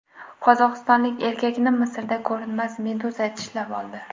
Qozog‘istonlik erkakni Misrda ko‘rinmas meduza tishlab oldi.